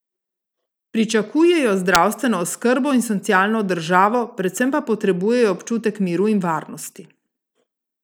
Pričakujejo zdravstveno oskrbo in socialno državo, predvsem pa potrebujejo občutek miru in varnosti.